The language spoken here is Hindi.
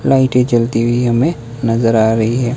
लाइटें जलती हुई हमें नजर आ रही है।